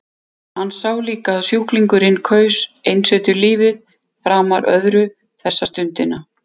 Hann sá líka að sjúklingurinn kaus einsetulífið framar öðru þessa stundina.